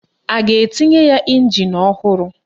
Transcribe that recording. A ga-etinye ya ịnjin ọhụrụ?